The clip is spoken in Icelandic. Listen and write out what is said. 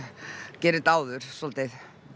gerir þetta áður svolítið